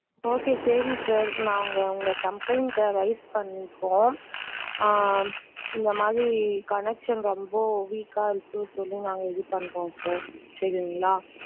Okay சரி sir நா உங்க complaint ட raise பண்ணிருக்கோம் ஆஹ் இந்த மாதிரி connection ரொம்ப weak இருக்கு சொல்லி நாங்க இது பண்றோம் sir சரிங்களா?